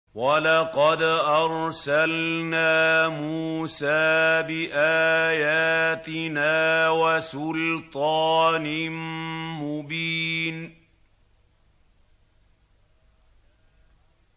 وَلَقَدْ أَرْسَلْنَا مُوسَىٰ بِآيَاتِنَا وَسُلْطَانٍ مُّبِينٍ